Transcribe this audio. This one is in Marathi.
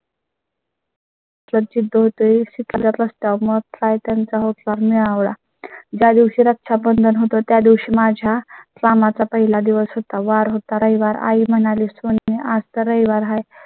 मला चित्तूर तरी शिकाय ला प्रस्ताव मग काय त्यांचा होकार मिळवला. ज्या दिवशी रक्षाबंधन होतो त्यादिवशी माझ्या कामाचा पहिला दिवस होता. वार होता रविवार आई म्हणाली, सोनी आज तर रविवार आहे